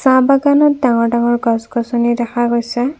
আম বাগানত ডাঙৰ ডাঙৰ গছ গছনি দেখা গৈছে।